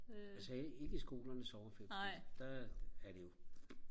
altså ikke ikke i skolernes sommerferie fordi der er det jo